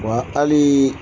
Wa hali